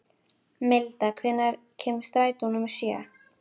Milda, hvenær kemur strætó númer sjö?